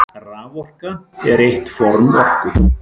Raforka er eitt form orku.